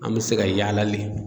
An mɛ se ka yaala le.